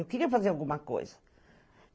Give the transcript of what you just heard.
Eu queria fazer alguma coisa.